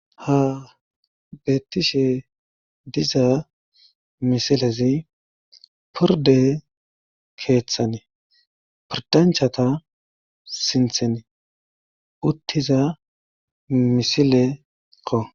Ha beettishe diza misilezi porde keeththani pordanchata sintheni uttiza misilekko.